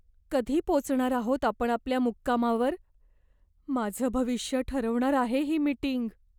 कधी पोचणार आहोत आपण आपल्या मुक्कामावर? माझं भविष्य ठरवणार आहे ही मीटिंग.